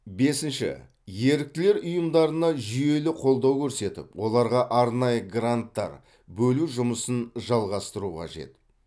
бесінші еріктілер ұйымдарына жүйелі қолдау көрсетіп оларға арнайы гранттар бөлу жұмысын жалғастыру қажет